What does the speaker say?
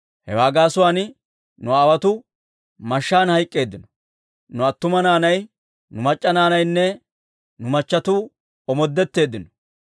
Hewaa gaasuwaan nu aawotuu mashshaan hayk'k'eeddino; nu attuma naanay, nu mac'c'a naanaynne nu machatuu omoodetteeddino.